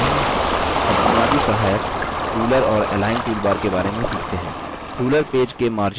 अब बुनियादी सहायकruler और align toolbar के बारे में सीखते हैं